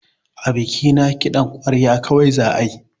A bikina kiɗan ƙwarya kawai za ayi